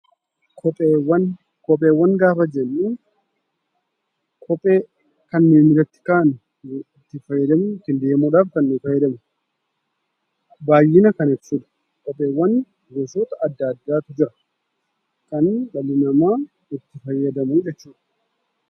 Kopheewwan. Kopheewwan gosa addaa addaatu jira. Isaanis ittiin deemuuf kan tajaajilanii dha. Kopheewwan gaafa jennu kan miillatti kaawwannu fi ittiin deemuuf kan gargaaramnuu dha.